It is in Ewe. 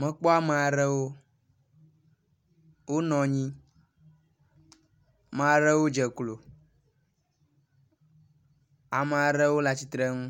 Mekpɔ ame aɖewo wonɔ anyi. Maɖewo dze klo. Ame aɖewo le atsitre nu